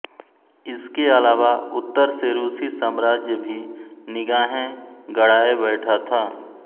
इसके अलावा उत्तर से रूसी साम्राज्य भी निगाहें गड़ाए बैठा था